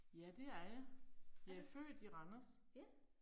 Er du. Ja